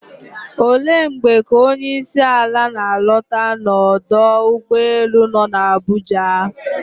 Olee mgbe ka onyeisiala na-alọta n'ọdọ ụgbọelu nọ n'Abuja?